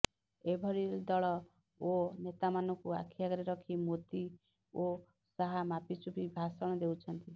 ଏଭଳି ଦଳ ଓ ନେତାମାନଙ୍କୁ ଆଖି ଆଗରେ ରଖି ମୋଦୀ ଓ ଶାହ ମାପିଚୁପି ଭାଷଣ ଦେଉଛନ୍ତି